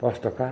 Posso tocar?